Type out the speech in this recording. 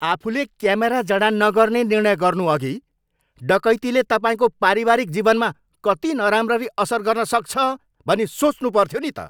आफूले क्यामेरा जडान नगर्ने निर्णय गर्नुअघि डकैतीले तपाईँको पारिवारिक जीवनमा कति नराम्ररी असर गर्नसक्छ भनी सोच्नुपर्थ्यो नि त।